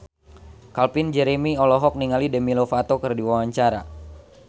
Calvin Jeremy olohok ningali Demi Lovato keur diwawancara